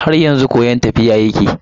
Har yanzu koyon tafiya yake.